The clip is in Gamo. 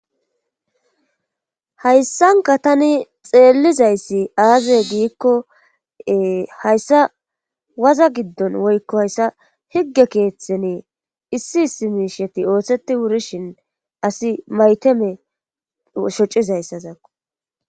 Hayssanka tani xeellizayssi aazye giikkoe hayssa waza giddon woykko hayssa higge keethethene issi issi miisheti ooththeti wurishin asi mayteme shocizayssazaakko.